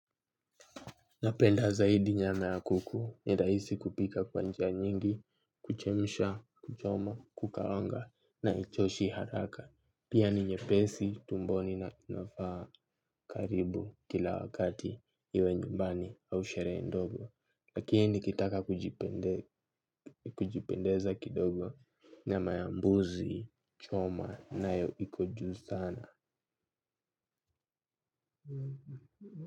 Napenda zaidi nyama ya kuku ni rahisi kupika kwa njia nyingi, kuchemsha, kuchoma, kukaanga na haichoshi haraka. Pia ni nyepesi, tumboni na inafaa karibu kila wakati iwe nyumbani au sherehe ndogo. Lakini nikitaka kujipendeza kidogo na nyama ya mbuzi, choma nayo ikoo juu sana.